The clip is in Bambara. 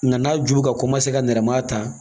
Nka n'a ju bɛ ka ka nɛrɛmaa ta